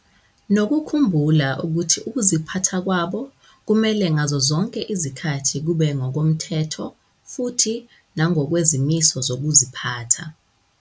Nokukhumbula ukuthi ukuziphatha kwabo kumele ngazo zonke izikhathi kube ngokomthetho futhi nangokwezimiso zokuziphatha.